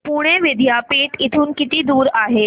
पुणे विद्यापीठ इथून किती दूर आहे